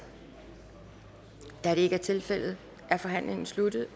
da det ikke er tilfældet er forhandlingen sluttet